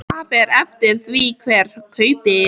Það fer eftir því hver kaupir.